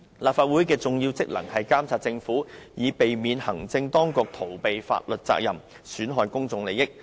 立法會的重要職能是監察政府，避免行政當局逃避法律責任，損害公眾利益。